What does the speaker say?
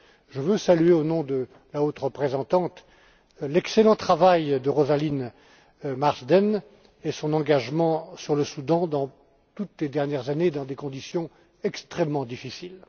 Je veux saluer, au nom de la haute représentante, l'excellent travail de Rosalind Marsden et son engagement au Soudan, toutes ces dernières années, dans des conditions extrêmement difficiles.